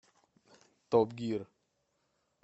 топ гир